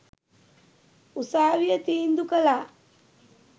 උසාවිය තීන්දු කළා.